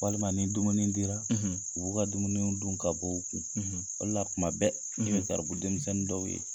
Walima ni dumuni dira, , u b'u ka dumuniw dun ka bɔ u kun, . O de la kuma bɛɛ, , e bɛ garibu denmisɛnnin dɔw ye